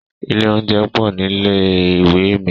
Ilé oúnjẹ pọ̀ nílé ìwé mi.